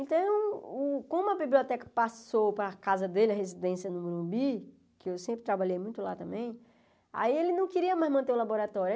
Então, o como a biblioteca passou para a casa dele, a residência no Morumbi, que eu sempre trabalhei muito lá também, aí ele não queria mais manter o laboratório.